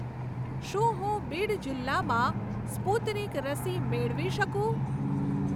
શું હું બીડ જિલ્લામાં સ્પુતનિક રસી મેળવી શકું?